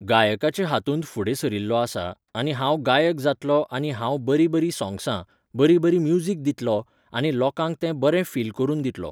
गायकाचे हातूंत फुडें सरिल्लों आसा आनी हांव गायक जातलों आनी हांव बरीं बरीं सोंग्सां, बरी बरी म्युजीक दितलों आनी लोकांक तें बरे फील करून दितलों.